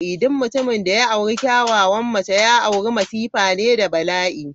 Duk mutumin da ya aure kyakyawan mace, ya aure masifa ne da bala'i.